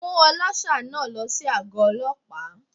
Mú ọlọ́ṣà náà lọ sí àgó Ọlọ́pàá.